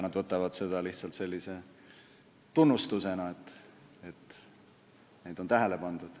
Nad võtavad seda lihtsalt sellise tunnustusena, et neid on tähele pandud.